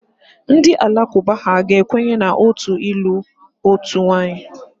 Ndị Alakụba ha ga-ekwenye na otu ịlụ otu nwaanyị.